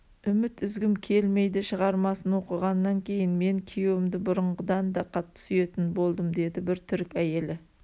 үміт үзгім келмейдішығармасын оқығаннан кейін мен күйеуімді бұрынғыдан да қатты сүйетін болдым деді бір түрік әйелі